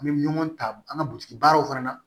An bɛ ɲɔgɔn ta an ka butigi baaraw fana na